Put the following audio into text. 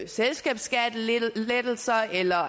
selskabsskattelettelser eller